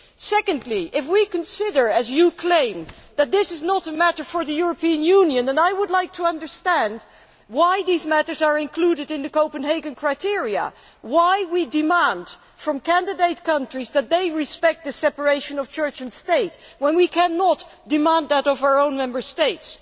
Secondly, if we consider as you claim that this is not a matter for the European Union, I would like to understand why these matters are included in the Copenhagen criteria, and why we demand from candidate countries that they respect the separation of church and state when we cannot demand that of our own Member States.